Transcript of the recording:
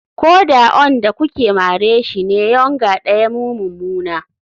Ko da onrn da kuke mare shi ne yournger daya mu mummuna.